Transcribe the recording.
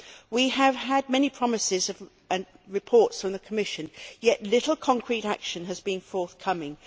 We have had many promises and reports from the Commission, yet little concrete action has been forthcoming.